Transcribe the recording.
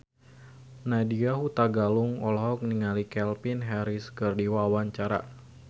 Nadya Hutagalung olohok ningali Calvin Harris keur diwawancara